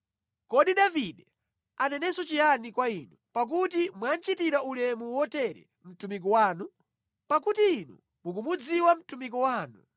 “Kodi Davide anenenso chiyani kwa Inu, pakuti mwachitira ulemu wotere mtumiki wanu? Pakuti Inu mukumudziwa mtumiki wanu.